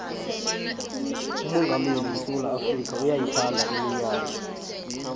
umongameli wesewula afrika uyayithanda iminyanya